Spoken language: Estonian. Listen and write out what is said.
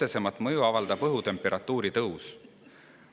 Sellele avaldab kõige otsesemat mõju õhutemperatuuri tõus.